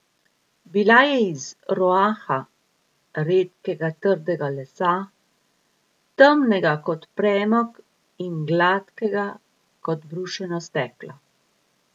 Bila je iz roaha, redkega trdega lesa, temnega kot premog in gladkega kot brušeno steklo.